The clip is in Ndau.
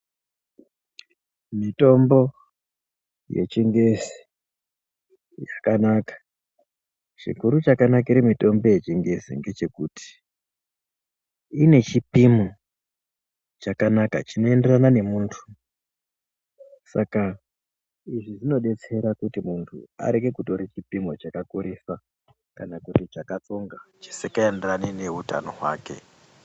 Mitombo yechingezi yakanaka. Chikuru chakanakire mitombo yechingezi ngechekuti ine chipimo chakanaka chinoenderan nemuntu Saka izvi zvinodetsera kuti muntu areke kutore chipimo chakakurisa kana kuti chakatsonga chisikaenderani neutano hwake.